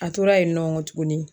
A tora yen nɔ kɔ tuguni